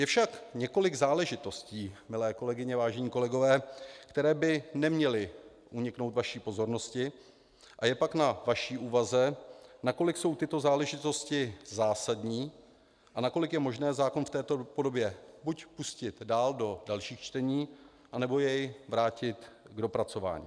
Je však několik záležitostí, milé kolegyně, vážení kolegové, které by neměly uniknout vaší pozornosti, a je pak na vaší úvaze, nakolik jsou tyto záležitosti zásadní a nakolik je možné zákon v této podobě buď pustit dál do dalších čtení, anebo jej vrátit k dopracování.